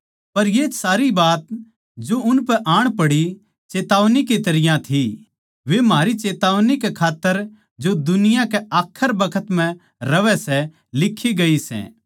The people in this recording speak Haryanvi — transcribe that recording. पर ये सारी बात जो उनपै आण पड़ी चेतावनी की तरियां थी वे म्हारी चेतावनी कै खात्तर जो दुनिया के आखरी बखत म्ह रहवै सै लिक्खी गई सै